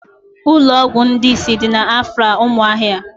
Ụlọọgwụ ndị isi dị n'Afara umuahia